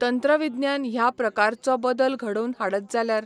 तंत्र विज्ञान ह्या प्रकारचो बदल घडोवन हाडत जाल्यार